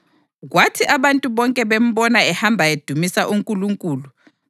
Kwathi abantu bonke bembona ehamba edumisa uNkulunkulu,